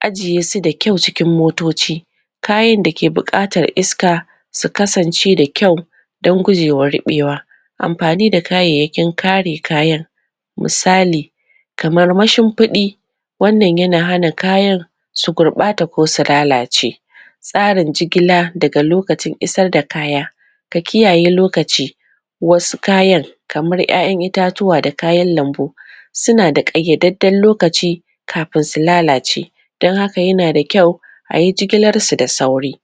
ajiye su da kyau cikin motoci kayan da ke buƙatar iska su kasance da kyau dan gujewa riɓewa amfanin da kayayyakin kare kayan misali kamar mashimfiɗi wannan yana hana kayan su gurɓata ko su lalace tsarin jigila daga lokacin isar da kaya ka kiyaye lokaci wasu kayan kamar 'ya'yan itatutwa da kayan lambu suna da ƙayyadadden lokaci kafin su lalace dan haka yana da kyau a yi jigilar su da sauri